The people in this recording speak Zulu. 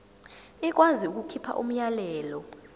ikwazi ukukhipha umyalelo